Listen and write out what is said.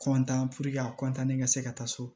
kɔntan a ka se ka taa so